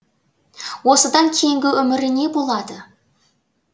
осыдан кейінгі өмірі не болады